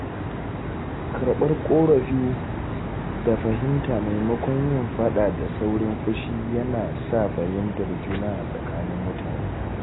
Karɓar ƙorafi da fahimta maimakon yin faɗa da saurin fushi yana sa fahimtar juna a tsakanin mutane.